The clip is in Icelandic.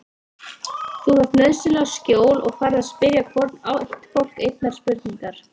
Þú þarft nauðsynlega skjól og færð að spyrja hvorn ættbálk einnar spurningar.